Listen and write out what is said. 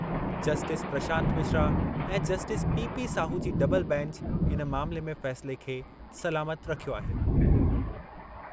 Justice Prashant Mishra ऐं justice P. P. Sahu जी double bench इन मामले में फ़ैसिले खे सलामत रखियो आहे।